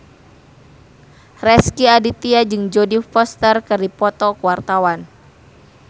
Rezky Aditya jeung Jodie Foster keur dipoto ku wartawan